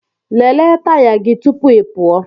Lelee taya gị tupu ị pụọ!